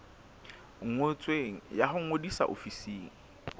ngotsweng ya ho ngodisa ofising